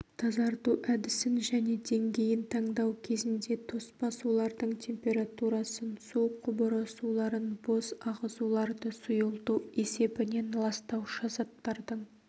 тазарту әдісін және деңгейін таңдау кезінде тоспа сулардың температурасын су құбыры суларын бос ағызуларды сұйылту есебінен ластаушы заттардың